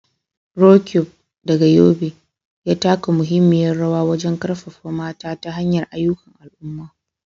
Roqeeb, daga Yobe, ya taka muhimmiyar rawa wajen karfafa mata ta hanyar ayyukan al'umma.